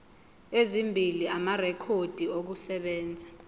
ezimbili amarekhodi okusebenza